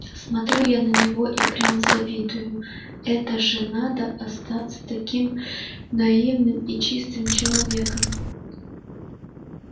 смотрю я на него и прям завидую это же надо остаться таким наивным и чистым человеком